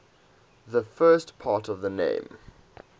the first part of the name